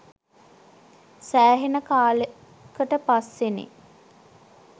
සෑහෙන කාලකට පස්සෙනෙ